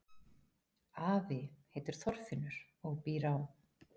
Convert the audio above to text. Afi heitir Þorfinnur og býr á